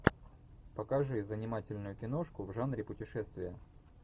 покажи занимательную киношку в жанре путешествия